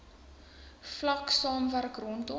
vlak saamwerk rondom